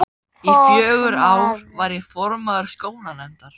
Í fjögur ár var ég formaður skólanefndar.